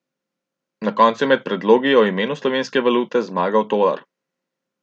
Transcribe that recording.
Na koncu je med predlogi o imenu slovenske valute zmagal tolar.